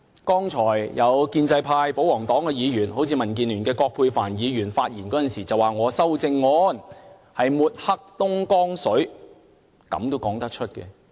剛才有建制派保皇黨的議員，好像民建聯的葛珮帆議員發言時說我的修正案抹黑東江水，她竟然說出這樣的話。